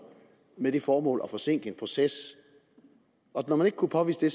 med det formål at forsinke en proces når man ikke kunne påvise det